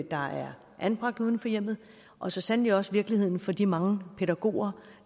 der er anbragt uden for hjemmet og så sandelig også virkeligheden for de mange pædagoger